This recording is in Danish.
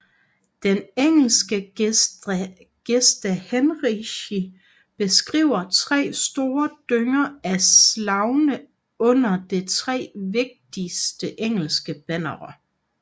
Den engelske Gesta Henrici beskriver tre store dynger af slagne under det tre vigtigste engelske bannere